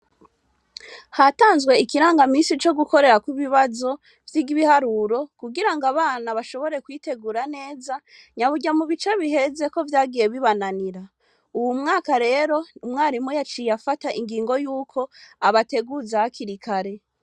Hatanzwe ikirangamisi co gukorerako ibibazo vy'ibiharuro, kugira ngo abana bashobore kwitegura neza, nyaburya mu bica biheze ko vyagiye bibananira. Uwu mwaka rero, umwarimu yaciye afata ingingo y'uko abateguza hakiri kare.